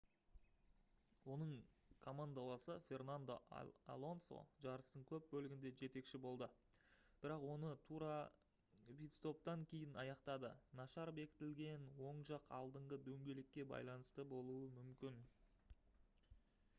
оның командаласы фернандо алонсо жарыстың көп бөлігінде жетекші болды бірақ оны тура питстоптан кейін аяқтады нашар бекітілген оң жақ алдыңғы дөңгелекке байланысты болуы мүмкін